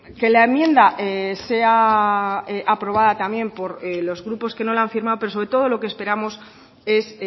que la enmienda sea aprobada también por los grupos que no la han firmado pero sobre todo lo que esperamos es